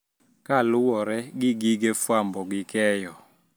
Kaluwore gi gige fwambo gi keyo